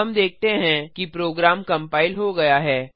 हम देखते हैं कि प्रोग्राम कंपाइल हो गया है